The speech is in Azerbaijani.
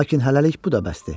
Lakin hələlik bu da bəsdir.